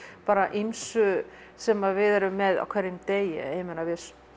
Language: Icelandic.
ýmsu sem við erum með á hverjum degi við